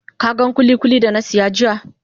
Ka gan kulikuli da na saya jiya?